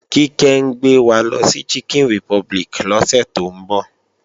Kíkẹ́ ń gbé wa lọ sí Chicken Republic lọ́sẹ̀ tó ń bọ̀